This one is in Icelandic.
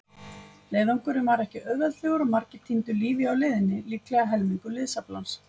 Leiðangurinn var ekki auðveldur og margir týndu lífi á leiðinni, líklega helmingur liðsaflans.